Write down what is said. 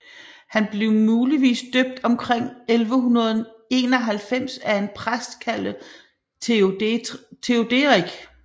Han blev muligvis døbt omkring 1191 af en præst kaldet Theoderic